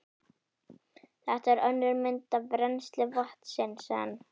Þetta er önnur mynd af rennsli vatnsins en